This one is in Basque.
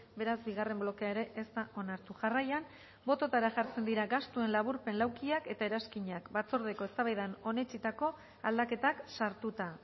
beraz bigarren blokea ere ez da onartu jarraian bototara jartzen dira gastuen laburpen laukiak eta eranskinak batzordeko eztabaidan onetsitako aldaketak sartuta